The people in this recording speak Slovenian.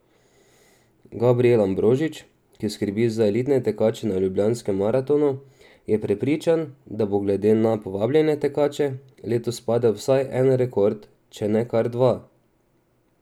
Gabrijel Ambrožič, ki skrbi za elitne tekače na Ljubljanskem maratonu, je prepričan, da bo, glede na povabljene tekače, letos padel vsaj en rekord, če ne kar dva.